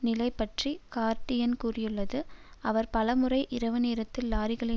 நிலை பற்றி கார்டியன் கூறியுள்ளது அவர் பல முறை இரவு நேரத்தில் லாரிகளை